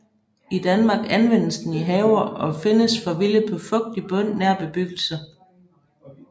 I Danmark anvendes den i haver og findes forvildet på fugtig bund nær bebyggelse